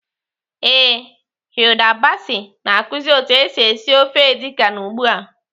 Ee, Hilda Baci na-akụzi otu esi esi ofe edi kan ugbu a.